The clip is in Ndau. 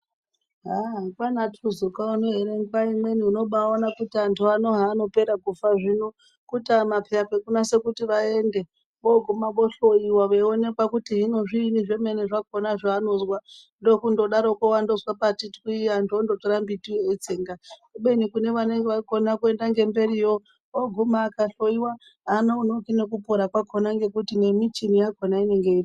Aah! kwaana tuzuka uno ere ,nguwa imweni unobawaone kuti anhu ano haanopere kufa zvino kutama peya kwekunase kuti vaende voguma vohloyiwa veionekwa kuti hino zviinyi zvemene zvakona zvevanozwa ndokundodaroko wandozwe pati twi antu ondotora mbiti yo veitsenga kubeni kune vanenge vakona kuenda ngemberi yo oguma akahloyiwa hanonoki nekupona kwakona nekuti nemichini yakona inenge iripo.